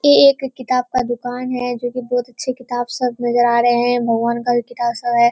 ये एक किताब का दुकान है जो कि बहुत अच्छे किताब सब नजर आ रहें हैं। भगवान का भी किताब सब है।